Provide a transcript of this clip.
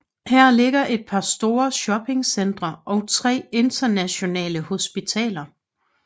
Her ligger et par store shopping centre og tre internationale hospitaler